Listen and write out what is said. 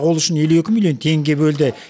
ол үшін елу екі миллион теңге бөлді